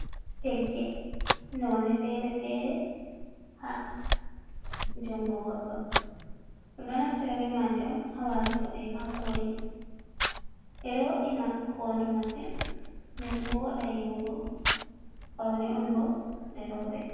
Pegge none fere-fere ha jungo goɗɗo. ɗum ɗo naftira be maje on hawatugo de hakoli. ɓeɗo wo’ina hondu masin. nden voɗa yi'ugo paune on bo ɗeroɓe.